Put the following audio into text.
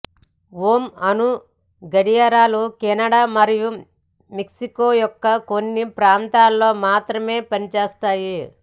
home అణు గడియారాలు Canada మరియు మెక్సికో యొక్క కొన్ని ప్రాంతాలలో మాత్రమే పని చేస్తాయి